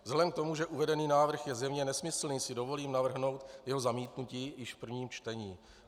Vzhledem k tomu, že uvedený návrh je zřejmě nesmyslný, si dovolím navrhnout jeho zamítnutí již v prvním čtení.